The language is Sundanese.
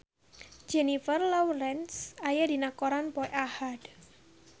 Jennifer Lawrence aya dina koran poe Ahad